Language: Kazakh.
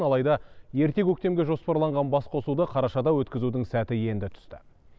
алайда ерте көктемге жоспарланған басқосуды қарашада өткізудің сәті енді түсті